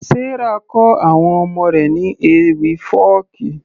Sarah kọ àwọn ọmọ rẹ̀ ní ewì fọ́ọ̀kí